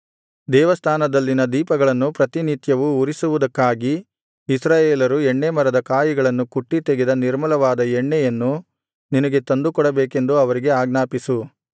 ದೇವಸ್ಥಾನದಲ್ಲಿನ ದೀಪಗಳನ್ನು ಪ್ರತಿನಿತ್ಯವೂ ಉರಿಸುವುದಕ್ಕಾಗಿ ಇಸ್ರಾಯೇಲರು ಎಣ್ಣೆಮರದ ಕಾಯಿಗಳನ್ನು ಕುಟ್ಟಿ ತೆಗೆದ ನಿರ್ಮಲವಾದ ಎಣ್ಣೆಯನ್ನು ನಿನಗೆ ತಂದುಕೊಡಬೇಕೆಂದು ಅವರಿಗೆ ಆಜ್ಞಾಪಿಸು